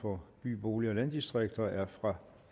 for by bolig og landdistrikter er fra